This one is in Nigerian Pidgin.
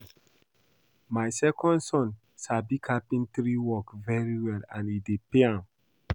My second son sabi do carpentry work very well and e dey pay am